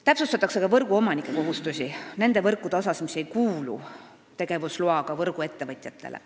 Täpsustatakse võrguomanike kohustusi nende võrkude puhul, mis ei kuulu tegevusloaga võrguettevõtjatele.